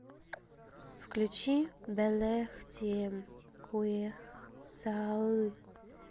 включи бэлэхтиэм куех сааьы